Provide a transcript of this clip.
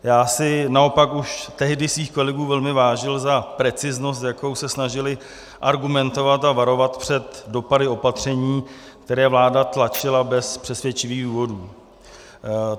Já si naopak už tehdy svých kolegů velmi vážil za preciznost, s jakou se snažili argumentovat a varovat před dopady opatření, které vláda tlačila bez přesvědčivých důvodů.